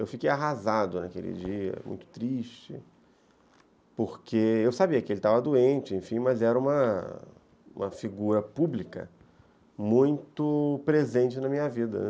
Eu fiquei arrasado naquele dia, muito triste, porque eu sabia que ele estava doente, enfim, mas era uma figura pública muito presente na minha vida, né.